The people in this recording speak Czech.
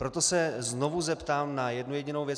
Proto se znovu zeptám na jednu jedinou věc.